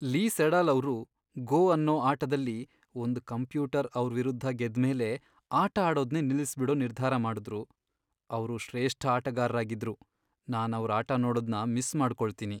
ಲೀ Sedol ಅವ್ರು "Go" ಅನ್ನೋ ಆಟದಲ್ಲಿ ಒಂದ್ ಕಂಪ್ಯೂಟರ್ ಅವ್ರ್ ವಿರುದ್ಧ ಗೆದ್ಮೇಲೆ ಆಟ ಆಡೋದ್ನೇ ನಿಲ್ಲಿಸ್ಬಿಡೋ ನಿರ್ಧಾರ ಮಾಡುದ್ರು. ಅವ್ರು ಶ್ರೇಷ್ಠ ಆಟಗಾರ್ರಾಗಿದ್ರು, ನಾನವ್ರ್ ಆಟ ನೋಡೋದ್ನ ಮಿಸ್ ಮಾಡ್ಕೊಳ್ತೀನಿ.